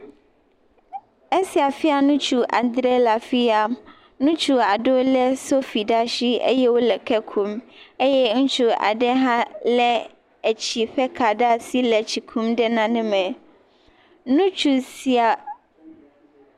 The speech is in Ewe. Asi fia Nutsu adre le afiya, ŋutsu aɖewo le sofi ɖe asi eye wole ke kum eye ŋutsu aɖe hã le etsi ƒe ka ɖe asi le tsi kum ɖe nane me. Nutsu sia.